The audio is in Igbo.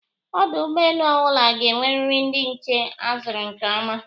Ọdụ ụgbọelu ọbụla ga-enweriri ndị nche a zụrụ nke ọma